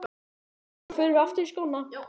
Síðan förum við aftur í skóna.